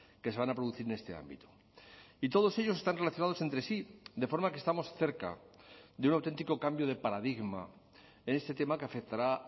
que se van a producir en este ámbito y todos ellos están relacionados entre sí de forma que estamos cerca de un auténtico cambio de paradigma en este tema que afectará